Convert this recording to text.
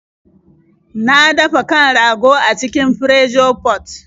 Na dafa kan rago a cikin Pressure pot.